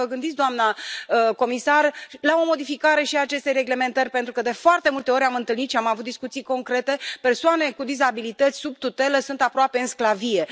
Poate vă gândiți, doamnă comisar, la o modificare și a acestei reglementări, pentru că, de foarte multe ori, am întâlnit și am avut discuții concrete persoane cu dizabilități sub tutelă sunt aproape în sclavie.